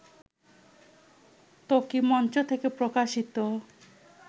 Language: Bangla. ত্বকী মঞ্চ থেকে প্রকাশিত